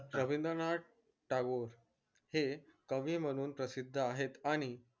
रविंद्रनाथ टागोर हे कवि म्हणून प्रसिद्ध आहेत आणि